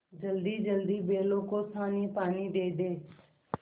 जल्दीजल्दी बैलों को सानीपानी दे दें